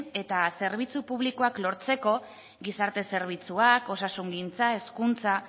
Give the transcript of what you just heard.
eta zerbitzu publikoak lortzeko gizarte zerbitzuak osasungintza hezkuntza